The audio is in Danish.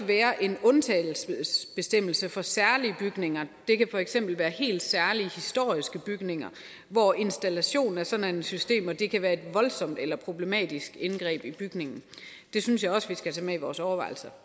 være en undtagelsesbestemmelse for særlige bygninger det kan for eksempel være helt særlige historiske bygninger hvor installation af sådanne systemer kan være et voldsomt eller problematisk indgreb i bygningen det synes jeg også vi skal tage med i vores overvejelser